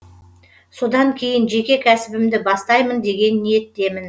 содан кейін жеке кәсібімді бастаймын деген ниеттемін